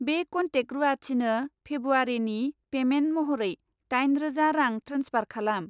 बे कनटेक्ट रुवाथिनो फेब्रुवारिनि पेमेन्ट महरै दाइन रोजा रां ट्रेन्सफार खालाम।